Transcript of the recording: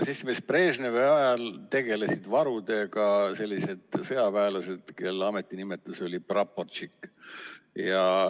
Seltsimees Brežnevi ajal tegelesid varudega sõjaväelased, kelle ametinimetus oli praporštšik.